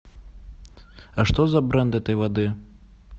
а что за бренд этой воды